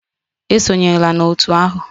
Esonyela na otu ahụ!